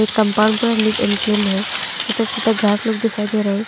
एक कंपाउंड पूरा neat and clean है छोटा छोटा घास लोग दिखाई दे रहा है।